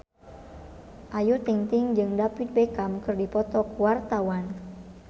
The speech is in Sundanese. Ayu Ting-ting jeung David Beckham keur dipoto ku wartawan